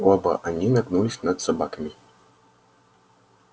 оба они нагнулись над собаками